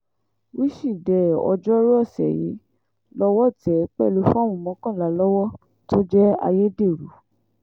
wíṣídẹ̀ẹ́ ọjọ́rùú ọ̀sẹ̀ yìí lọ́wọ́ tẹ̀ ẹ́ pẹ̀lú fọ́ọ̀mù mọ́kànlá lọ́wọ́ tó jẹ́ ayédèrú